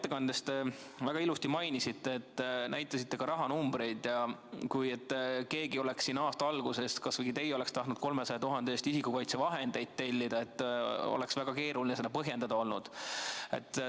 Te mainisite oma ettekandes väga ilusti – näitasite ka rahanumbreid –, et kui keegi, kas või teie, oleks aasta alguses tahtnud 300 000 euro eest isikukaitsevahendeid tellida, oleks väga keeruline seda põhjendada olnud.